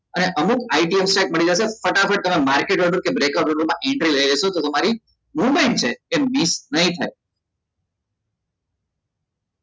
અને અમુક IT મળી જશે ફટાફટ તમને market opsteck કે breaker opsteck માં entry લઇ લેસો તો તમારી movement છે એ miss નહી થાય